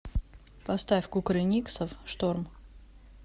поставь кукрыниксов шторм